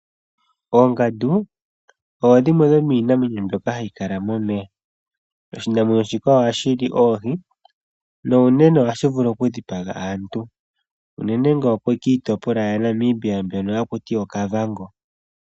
Oongandu odho dhimwe dho miinamwenyo mbyoka hayi kala momeya . Oshinamwenyo shika ohashili oohi Nuunene ohashi vulu okudhipaga aantu ,unene ngaashi kiitopolwa ya Namibia mbyono hakutiwa okavango.